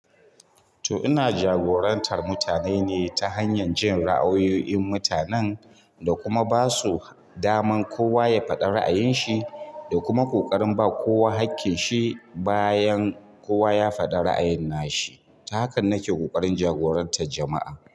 To ina jagorantar mutane ne ta hanyar jin ra'ayoyin mutanen da kuma ba su daman kowa ya faɗi ra'ayin shi da kuma ƙoƙarin ba kowa haƙƙin shi bayan kowa ya faɗa ra'ayin nashi. Ta hakan nake ƙoƙarin jagorantar jama'a.